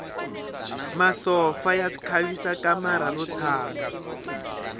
masopfa ya khavisa kamara ro tshama